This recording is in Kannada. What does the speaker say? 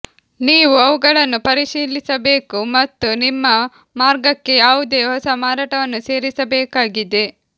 ನೀವು ಅವುಗಳನ್ನು ಪರಿಶೀಲಿಸಬೇಕು ಮತ್ತು ನಿಮ್ಮ ಮಾರ್ಗಕ್ಕೆ ಯಾವುದೇ ಹೊಸ ಮಾರಾಟವನ್ನು ಸೇರಿಸಬೇಕಾಗಿದೆ